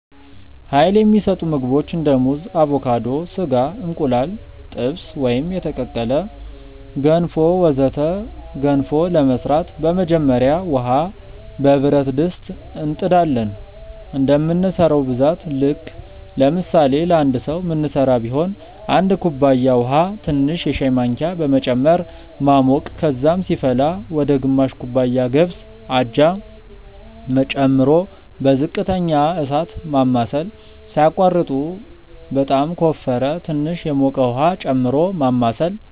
Uይል የሚሰጡ ምግቦች እንደ ሙዝ አቮካዶ፣ ስጋ፣ እንቁላል ጥብስ ወይም የተቀቀለ፣ ገንፎ ወዘተ ገንፎ ለመስራት በመጀመሪያ ውሃ በብረት ድስት እንጥ ዳለን እንደምንሰራው ብዛት ልክ ለምሳሌ ለአንድ ሰዉ ምንስራ ቢሆን 1 ኩባያ ውሃ ትንሽ የሻይ ማንኪያ በመጨመር ማሞቅ ከዛም ሲፈላ ወደ ግማሽ ኩባያ ገብስ (አጃ) ጨምሮ በዝቅተኛ እሳት ማማሰል ሳያቋርጡ በጣም ከወፈረ ትንሽ የሞቀ ውሃ ጨምሮ ማማሳል